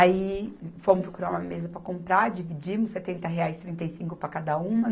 Aí fomos procurar uma mesa para comprar, dividimos setenta reais, trinta e cinco para cada uma.